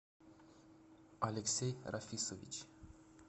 алексей рафисович